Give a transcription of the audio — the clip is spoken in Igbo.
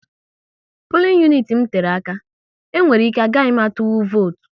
Pulin uniti m tere aka, e nwere ike agaghị m atụnwu votu